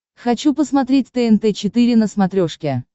хочу посмотреть тнт четыре на смотрешке